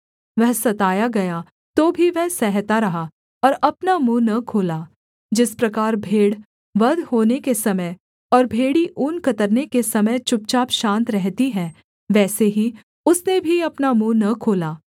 वह सताया गया तो भी वह सहता रहा और अपना मुँह न खोला जिस प्रकार भेड़ वध होने के समय और भेड़ी ऊन कतरने के समय चुपचाप शान्त रहती है वैसे ही उसने भी अपना मुँह न खोला